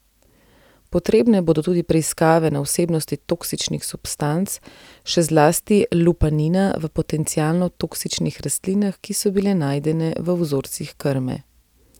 Potrebne bodo tudi preiskave na vsebnosti toksičnih substanc, še zlasti lupanina v potencialno toksičnih rastlinah, ki so bile najdene v vzorcih krme.